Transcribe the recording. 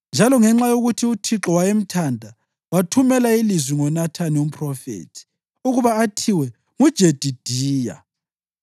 njalo ngenxa yokuthi uThixo wayemthanda, wathumela ilizwi ngoNathani umphrofethi ukuba athiwe nguJedidiya.